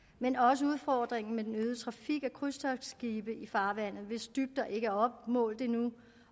men også udfordringen med den øgede trafik af krydstogtskibe i farvandet hvis dybder ikke er opmålt endnu